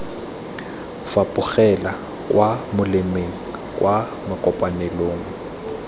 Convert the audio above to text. fapogela kwa molemeng kwa makopanelong